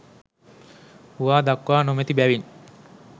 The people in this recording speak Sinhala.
හුවා දක්වා නොමැති බැවින්